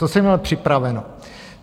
Co jsem měl připraveno.